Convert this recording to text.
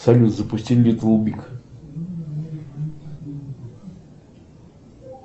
салют запусти литл биг